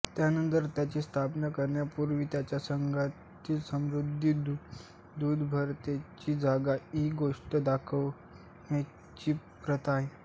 यानंतर त्यांची स्थापना करण्यापूर्वी त्यांना घरातील समृद्धी दुधदुभत्याची जागा इ गोष्टी दाखविण्याची प्रथा आहे